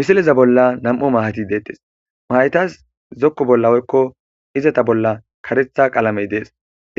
misileza bolla nam7u mahati deettes mahaytas zokko bolla oykko izata bolla karetha qaalamey dees